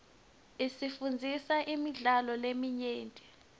isifundzisa imidlalo leminyenti